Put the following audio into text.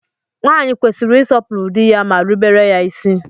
Nwaanyị kwesịrị ịsọpụrụ dị ya ma rubere ya isi